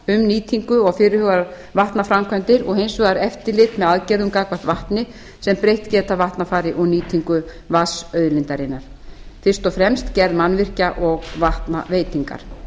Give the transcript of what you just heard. um nýtingu og fyrirhugaðar vatnaframkvæmdir og hins vegar eftirlit með aðgerðum gagnvart vatni sem breytt geta vatnafari og nýtingu vatnsauðlindarinnar fyrst og fremst gerð mannvirkja og vatnaveitingar